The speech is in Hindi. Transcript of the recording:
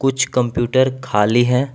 कुछ कंप्यूटर खाली हैं।